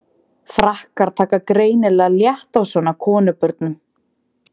Frakkar taka greinilega létt á svona konubörum.